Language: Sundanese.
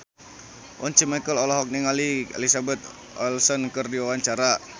Once Mekel olohok ningali Elizabeth Olsen keur diwawancara